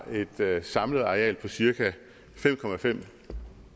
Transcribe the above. et samlet areal på cirka fem